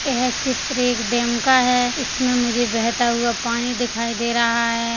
येह चित्र एक डेम का है इसमें मुझे बेहता हुआ पानी दिखाई दे रहा हैं।